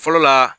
Fɔlɔ la